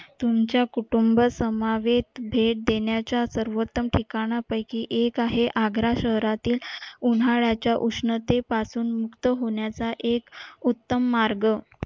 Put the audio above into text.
तुमच्या कुटुंबात समावेश भेट देण्याच्या सर्वोत्तम ठिकाणा पैकी एक आहे आग्रा शहरातील उन्हाळ्याच्या उष्णतेपासून मुक्त होण्याचा एक उत्तम मार्ग